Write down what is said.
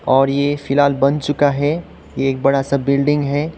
और ये फिलहाल बन चुका है ये एक बड़ा सा बिल्डिंग है।